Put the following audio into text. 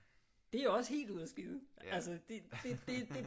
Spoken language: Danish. Det er også helt ude og skide altså det